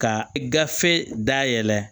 Ka gafe dayɛlɛ